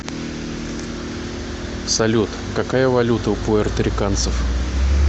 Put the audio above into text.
салют какая валюта у пуэрториканцев